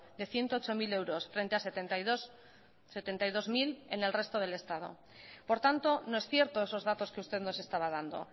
de ciento ocho mil euros frente a setenta y dos mil en el resto del estado por tanto no es cierto esos datos que usted nos estaba dando